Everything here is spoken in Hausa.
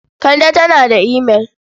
Kande tana da imail.